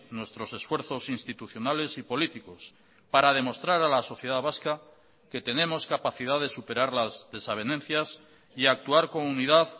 nuestros esfuerzos institucionales y políticos para demostrar a la sociedad vasca que tenemos capacidad de superar las desavenencias y actuar con unidad